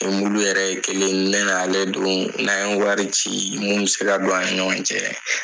Ni yɛrɛ ye kelen ne n'ale dun n'an ye wari ci mun bɛ se ka don an ni ɲɔgɔn cɛ.